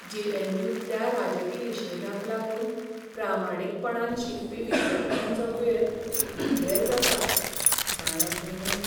जे.एन.यूतल्या राजकी निशेधांक लागून प्रामाणीकपणान शिकपी विद्यार्थ्यांचो वेळ पिड्डेर जाता, जाणा तूं!